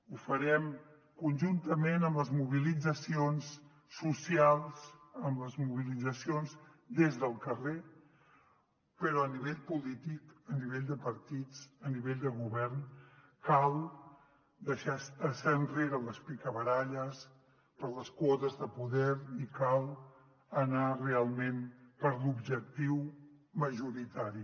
ho farem conjuntament amb les mobilitzacions socials amb les mobilitzacions des del carrer però a nivell polític a nivell de partits a nivell de govern cal deixar enrere les picabaralles per les quotes de poder i cal anar realment per l’objectiu majoritari